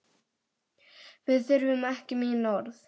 Við þurfum ekki mín orð.